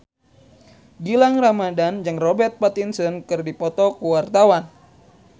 Gilang Ramadan jeung Robert Pattinson keur dipoto ku wartawan